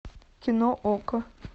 кино окко